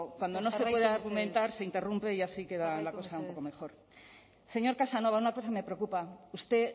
cuando no se puede argumentar se interrumpe y así queda la cosa un poco mejor señor casanova una cosa me preocupa usted